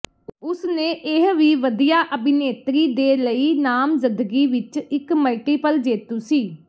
ਉਸ ਨੇ ਇਹ ਵੀ ਵਧੀਆ ਅਭਿਨੇਤਰੀ ਦੇ ਲਈ ਨਾਮਜ਼ਦਗੀ ਵਿੱਚ ਇੱਕ ਮਲਟੀਪਲ ਜੇਤੂ ਸੀ